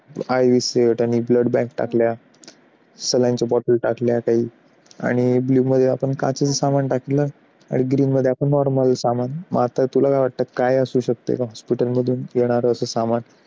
IV set आणि blood bag टाकला. सर्वांचे bottle टाकला काही आणि blue मध्ये आपण काचेचा सामान टाकलं आणि green मध्ये आपण normal सामान आता काय तुला काय असं वाटतं की काय असू शकते? hospital मधून येणार आसं सामान